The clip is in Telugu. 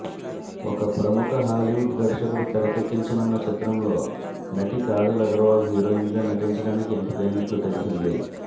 ఒక ప్రముఖ హాలీవుడ్ దర్శకుడు తెరకెక్కించనున్న చిత్రంలో నటి కాజల్ అగర్వాల్ హీరోయిన్గా నటించడానికి ఎంపికైనట్లు తెలిసింది